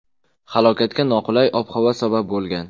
Halokatga noqulay ob-havo sabab bo‘lgan.